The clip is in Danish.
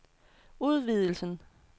udvidelsen